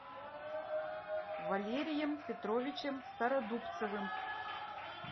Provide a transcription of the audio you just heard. валерием петровичем стародубцевым